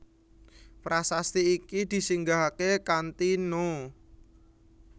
Prasasti iki disinggahaké kanthi No